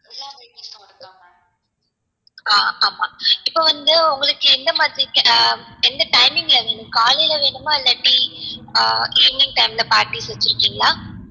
ஆஹ் ஆமா இப்போ வந்து உங்களுக்கு எந்த மாதிரி எந்த timing ல வேணும் காலைல வேணும்மா இல்லாட்டி ஆஹ் evening time ல party க்கு வச்சிருக்கிங்களா?